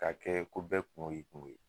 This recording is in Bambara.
K'a kɛ ko bɛɛ kuŋo y'i kuŋo ye